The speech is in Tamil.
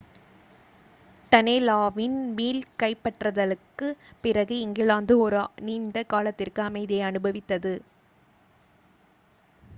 டனேலாவின் மீள் கைப்பற்றலுக்குப் பிறகு இங்கிலாந்து ஒரு நீண்ட காலத்திற்கு அமைதியை அனுபவித்தது